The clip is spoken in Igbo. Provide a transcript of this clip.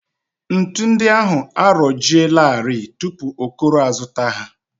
Ntu ndị ahụ arọjielarị tupu Okoro azụta ha